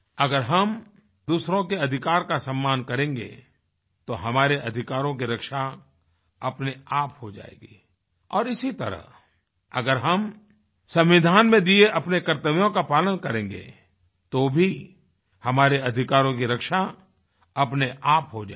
अगर हम दूसरों के अधिकार का सम्मान करेंगे तो हमारे अधिकारों की रक्षा अपने आप हो जायेगी और इसी तरह अगर हम संविधान में दिए अपने कर्तव्यों का पालन करेंगे तो भी हमारे अधिकारों की रक्षा अपने आप हो जायेगी